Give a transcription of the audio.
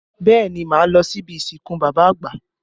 Bẹẹ ni, máa lọ sí ibi ìsìnkú bàbá àgbà